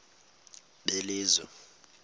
belizwe